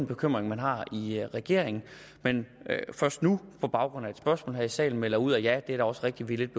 bekymring man har i regeringen men først nu på baggrund af et spørgsmål her i salen melder ud og siger ja det er da også rigtigt